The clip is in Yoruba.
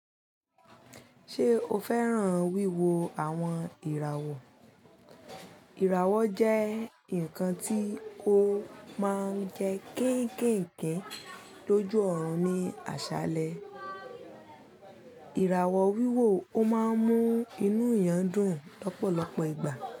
Ṣé o fẹ́ràn wíwo àwọn ìràwọ̀? Ìràwọ̀ jẹ́ ǹkan tí ó máa ń jẹ kéékèèké lójú ọ̀run ní àṣálẹ́. Ìràwọ̀ wíwò ó máa ń mú inú èèyàn dùn lọ́pọ̀lọpọ̀ ìgbà.